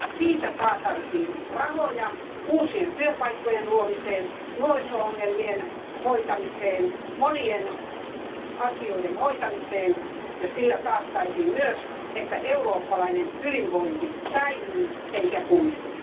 Siitä saataisiin rahoja uusien työpaikkojen luomiseen, nuoriso ongelmien hoitamiseen ja monien muiden asioiden hoitamiseen, ja sillä taattaisiin myös, että eurooppalainen hyvinvointi säilyy eikä kuihdu.